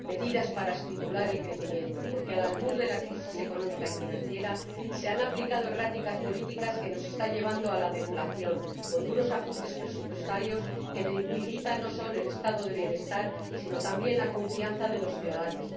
Medidas para estimular el crecimiento porque, al albur de la crisis económica y financiera, se han aplicado erráticas políticas que nos están llevando a la deflación, con duros ajustes presupuestarios que debilitan no solo el Estado del bienestar, sino también la confianza de los ciudadanos.